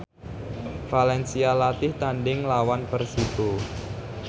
valencia latih tandhing nglawan Persibo